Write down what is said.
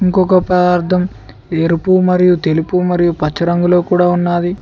ఇంకొక పదార్థం ఎరుపు మరియు తెలుపు మరియు పచ్చ రంగులో కూడా ఉన్నాది.